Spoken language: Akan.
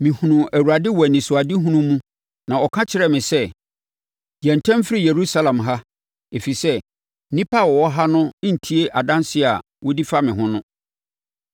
mehunuu Awurade wɔ anisoadehunu mu na ɔka kyerɛɛ me sɛ, ‘Yɛ ntɛm firi Yerusalem ha, ɛfiri sɛ, nnipa a wɔwɔ ha no rentie adanseɛ a wodi fa me ho no.’